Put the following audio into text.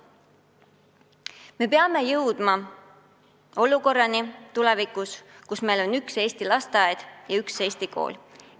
Me peame tulevikus jõudma olukorrani, kus meil on ühtne Eesti lasteaed ja ühtne Eesti kool.